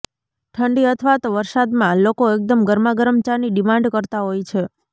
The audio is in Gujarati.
ઠંડી અથવા તો વરસાદમાં લોકો એકદમ ગરમાગરમ ચાની ડિમાન્ડ કરતાં હોઈ છે